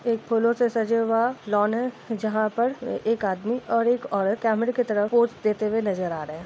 एक फूलों से सजा हुआ लॉन है जहाँ पर एक आदमी और एक औरत कैमरे के तरफ पोज़ देते हुए नजर आ रहे हैं।